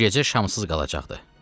Bu gecə şamsız qalacaqdı.